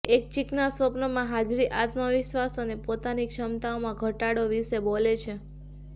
એક ચિકના સ્વપ્નમાં હાજરી આત્મવિશ્વાસ અને પોતાની ક્ષમતાઓમાં ઘટાડો વિશે બોલે છે